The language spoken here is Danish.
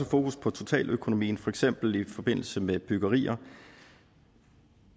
fokus på totaløkonomien for eksempel i forbindelse med byggerier